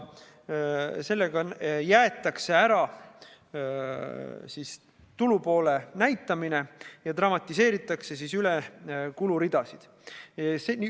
Sellega jäetakse ära tulupoole näitamine ja dramatiseeritakse üle kuluridasid.